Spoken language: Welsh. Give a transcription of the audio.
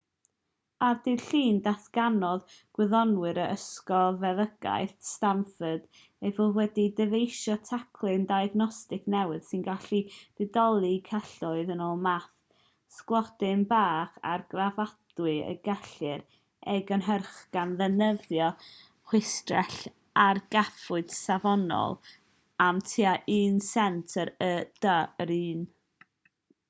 ar ddydd llun datganodd gwyddonwyr o ysgol feddygaeth stanford eu bod wedi dyfeisio teclyn diagnostig newydd sy'n gallu didoli celloedd yn ôl math sglodyn bach argraffadwy y gellir ei gynhyrchu gan ddefnyddio chwistrell-argraffwyr safonol am tua un sent yr u.d. yr un